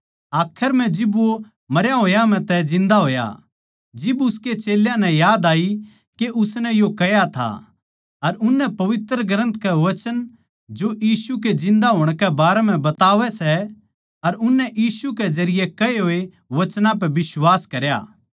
आखर म्ह जिब वो मरे होया म्ह तै जिन्दा होया जिब उसकै चेल्यां नै याद आई के उसनै यो कह्या था अर उननै पवित्र ग्रन्थ के वचन जो यीशु के जिन्दा होण के बारें म्ह बतावै सै अर उननै यीशु के जरिये कहे होए वचनां पै बिश्वास करया